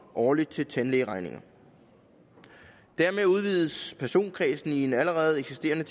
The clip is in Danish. årligt til tandlægeregninger dermed udvides personkredsen i en allerede eksisterende